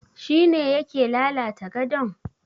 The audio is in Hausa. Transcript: Shi ne yake lalata gadon?